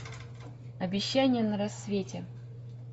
обещание на рассвете